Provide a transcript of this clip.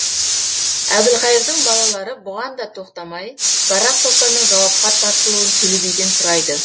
әбілқайырдың балалары бұған да тоқтамай барақ сұлтанның жауапқа тартылуын төле биден сұрайды